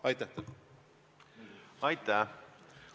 Aitäh!